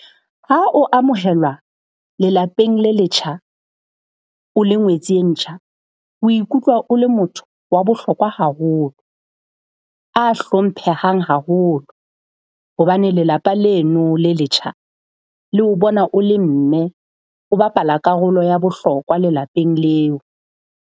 Ha o amohelwa lelapeng le letjha, o le ngwetsi e ntjha, o ikutlwa o le motho wa bohlokwa haholo, a hlomphehang haholo. Hobane lelapa leno le letjha le o bona o le mme, o bapala karolo ya bohlokwa lelapeng leo.